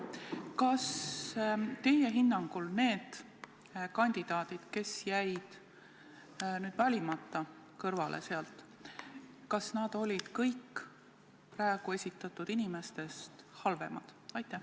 Kas teie hinnangul need kandidaadid, kes jäid valimata ja jäeti kõrvale, olid kõik praegu esitatud inimestest halvemad?